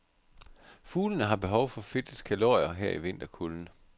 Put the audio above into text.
Fuglene har behov for fedtets kalorier her i vinterkulden.